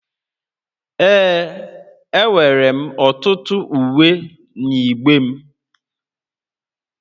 Ee, enwere m ọtụtụ uwe n'igbe m